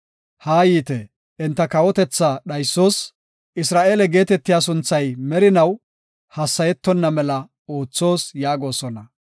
“Haayite, enta kawotethaa dhaysoos; Isra7eele geetetiya sunthay merinaw hassayetonna mela oothoos” yaagosona.